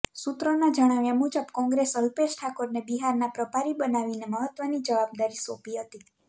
સૂત્રોના જણાવ્યા મુજબ કોંગ્રેસં અલ્પેશ ઠાકોરને બિહારના પ્રભારી બનાવીને મહત્વની જવાબદારી સોંપી હતી